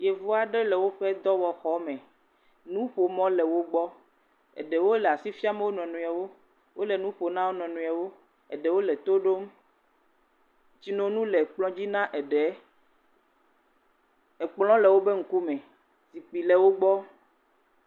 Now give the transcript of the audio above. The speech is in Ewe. Yevu aɖe le woƒe dɔwɔxɔme, nuƒomɔ le wo, eɖewo asi fiam wo nɔnɔewo, wole nu ƒom na wo nɔ nɔewo, eɖewo le to ɖom, tsinono le kplɔ dzi na eɖe, ekplɔ le wobe ŋkume, zikpui le wo gbɔ.